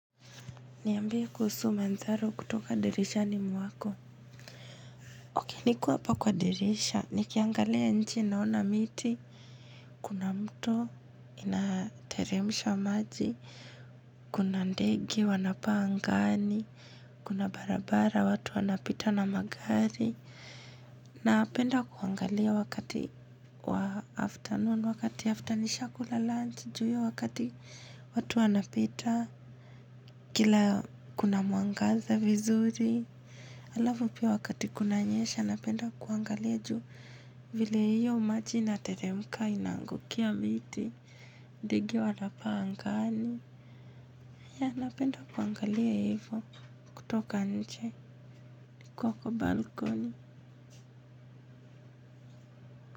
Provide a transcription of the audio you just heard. Niambie kuhusu manzaro kutoka dirishani mwako. Niko hapa kwa dirisha, nikiangalia nje naona miti. Kuna mto, inateremsha maji. Kuna ndege wanapaa angani. Kuna barabara, watu wanapita na magari. Napenda kuangalia wakati wa afternoon, wakati after nishakula lunch, jua wakati watu wanapita. Kila kuna muangaza vizuri. Alafu pia wakati kunanyesha, napenda kuangalia juu vile hiyo maji inateremka inaangukia miti, ndege wanapaa angani. Ya, napenda kuangalia hivyo kutoka nje, nikiwa kwa balkoni.